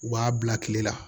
U b'a bila kile la